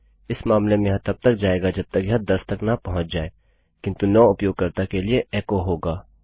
इस मामले में यह तब तक जाएगा जब तक यह 10 तक न पहुँच जाए किन्तु 9 उपयोगकर्ता के लिए एको होगा